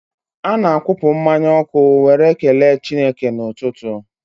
Ana-akwụpụ mmanya ọkụ were kelee Chineke n'ụtụtụ.